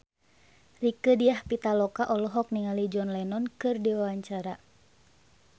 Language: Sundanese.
Rieke Diah Pitaloka olohok ningali John Lennon keur diwawancara